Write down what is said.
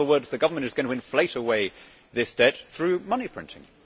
In other words, the government is going to inflate away this debt through money printing.